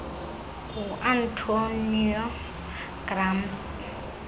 ngu antonio gramsci